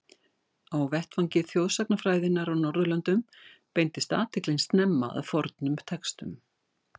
Á vettvangi þjóðsagnafræðinnar á Norðurlöndum beindist athyglin snemma að fornum textum.